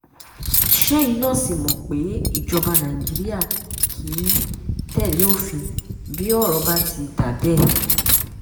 ṣẹ́yìn náà sì mọ̀ pé ìjọba nàìjíríà kì í tẹ̀lé òfin bí ọ̀rọ̀ bá ti dà bẹ́ẹ̀